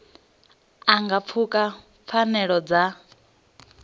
a nga pfuka pfanelo dza